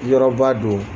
Yɔrɔba don